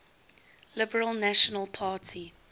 liberal national party